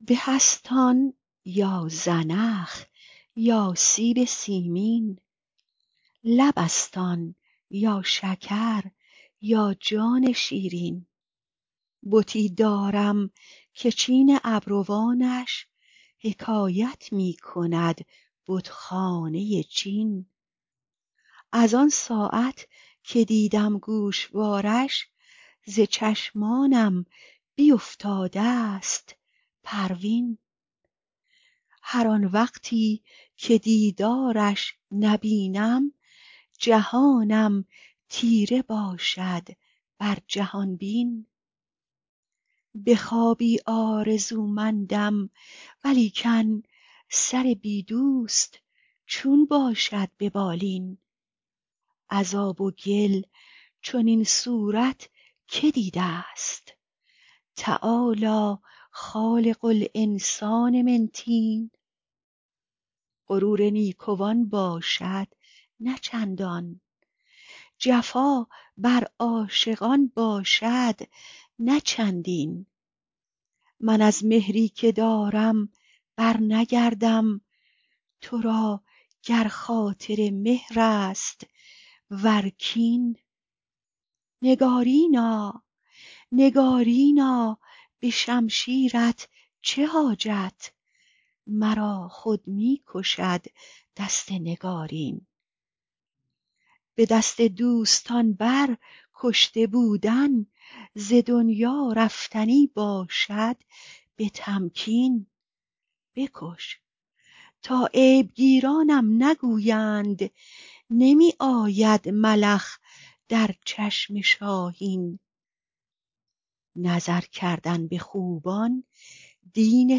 به است آن یا زنخ یا سیب سیمین لب است آن یا شکر یا جان شیرین بتی دارم که چین ابروانش حکایت می کند بتخانه چین از آن ساعت که دیدم گوشوارش ز چشمانم بیفتاده ست پروین هر آن وقتی که دیدارش نبینم جهانم تیره باشد بر جهان بین به خوابی آرزومندم ولیکن سر بی دوست چون باشد به بالین از آب و گل چنین صورت که دیده ست تعالی خالق الانسان من طین غرور نیکوان باشد نه چندان جفا بر عاشقان باشد نه چندین من از مهری که دارم برنگردم تو را گر خاطر مهر است و گر کین نگارینا به شمشیرت چه حاجت مرا خود می کشد دست نگارین به دست دوستان بر کشته بودن ز دنیا رفتنی باشد به تمکین بکش تا عیب گیرانم نگویند نمی آید ملخ در چشم شاهین نظر کردن به خوبان دین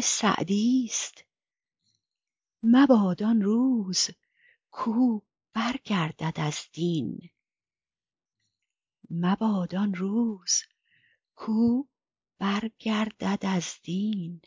سعدیست مباد آن روز کاو برگردد از دین